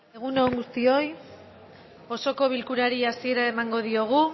egun on guztioi osoko bilkurari hasiera emango diogu